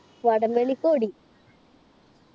വടം വലിക്ക് കൂടി.